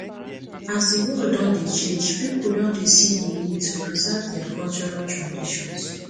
as di world don dey change people don dey see the need to preserve their cultural tradition